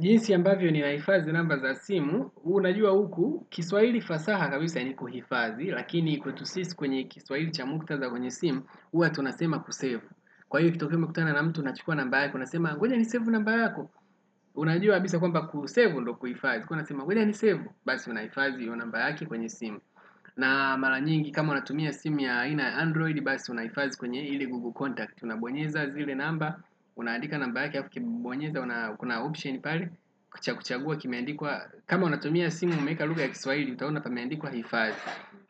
Jinsi ambavyo ninahifadhi namba za simu, unajua huku, kiswahili fasaha kabisa ni kuhifadhi, lakini kwetu sisi kwenye kiswahili cha muktadha kwenye simu, huwa tunasema kusavu. Kwa hiyo kitokea kutana na mtu, unachukua namba yako, unasema, gonja nisave namba yako, unajua kabisa kwamba kusave ndo kuhifadhi, kuwa unasema gonja nisave, basi unahifadhi hiyo namba yake kwenye simu. Na mara nyingi kama unatumia simu ya aina ya Android basi unahifadhi kwenye ile Google Contact. Unabonyeza zile namba, unaandika namba ya ukibonyeza unakuna option pale cha kuchagua kimeandikwa, kama unatumia simu umeweka lugha ya kiswahili utaona pameandikwa hifadhi